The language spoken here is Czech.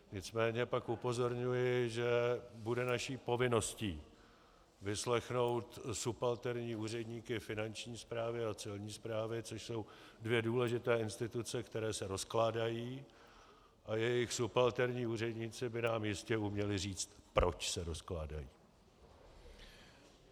Nicméně pak upozorňuji, že bude naší povinností vyslechnout subalterní úředníky Finanční správy a Celní správy, což jsou dvě důležité instituce, které se rozkládají, a jejich subalterní úředníci by nám jistě uměli říct, proč se rozkládají.